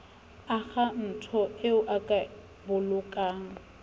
akhaonto eo o ka bolokang